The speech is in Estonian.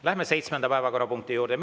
Läheme seitsmenda päevakorrapunkti juurde.